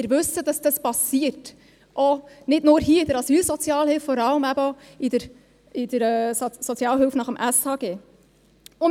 Wir wissen, dass das passiert – nicht nur hier in der Asylsozialhilfe, sondern vor allem eben auch in der Sozialhilfe gemäss SHG.